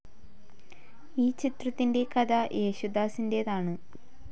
ഈ ചിത്രത്തിൻ്റെ കഥ യേശുദാസിൻ്റേതാണ്.